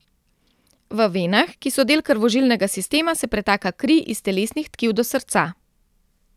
V venah, ki so del krvožilnega sistema, se pretaka kri iz telesnih tkiv do srca.